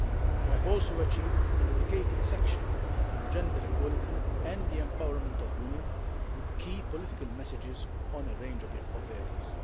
We have also achieved a dedicated section on gender equality and the empowerment of women with key political messages on a range of areas.